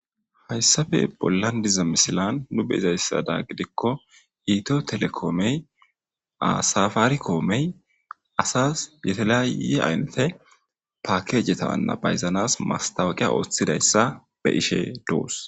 Hayssafe bollan diza misilan nu be izayssada gidikko iito telekoomey asafaari koomey asas yetelaye aynnete paakejetawanna bayzanas mastawaqiya ooththidayssa be ishe doos.